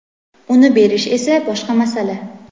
Uni berish esa boshqa masala.